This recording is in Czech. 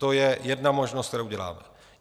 To je jedna možnost, kterou děláme.